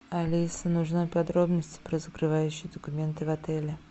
алиса нужны подробности про закрывающие документы в отеле